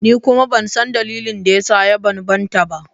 Ni kuma ban san dalilin da ya sa ya bambanta ba.